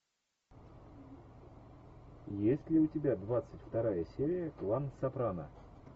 есть ли у тебя двадцать вторая серия клан сопрано